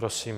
Prosím.